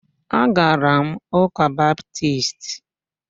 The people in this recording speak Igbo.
Agara m ụ́kà Baptisti